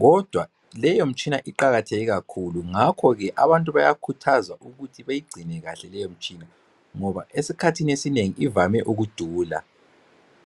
kodwa leyo mitshina iqakatheke kakhulu ngakho abantu bayakhuthazwa ukuthe beyigcine kahle leyo mitshina ngoba esikhathini esingengi ivame ukudula.